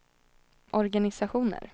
organisationer